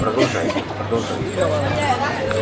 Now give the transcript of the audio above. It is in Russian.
продолжайте продолжайте